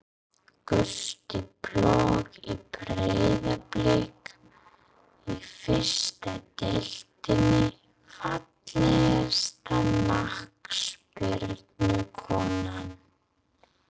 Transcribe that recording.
Gústi plögg í Breiðablik í fyrstu deildinni Fallegasta knattspyrnukonan?